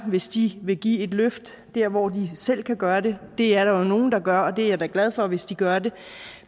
hvis de vil give et løft der hvor de selv kan gøre det det er der jo nogle der gør og det er jeg da glad for hvis de gør